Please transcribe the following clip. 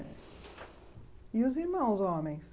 E os irmãos homens?